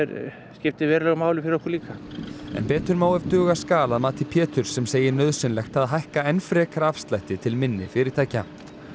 skiptir verulegu máli fyrir okkur líka en betur má ef duga skal að mati Péturs sem segir nauðsynlegt að hækka enn frekar afslætti til minni fyrirtækja